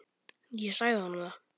Ég sagði honum það.